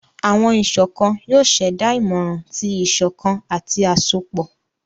Awọn iṣọkan yoo ṣẹda imọran ti iṣọkan ati asopọ.